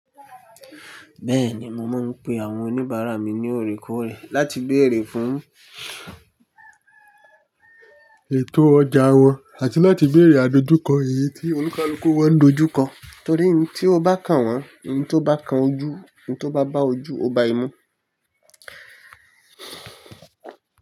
Bẹ́ẹ̀ni, mo máa ń pe àwọn oníbàárà mi ní òrìkòrè láti béèrè fún ètò ọjà wọn àti láti béèrè àdojúkọ èyí tí olùkálúkú wọ́n dojú kọ. Torí ohun tí o bá kàn wọ́n, ohun tó bá kan ojú, ohun tó bá bá ojú, o ba ẹmu.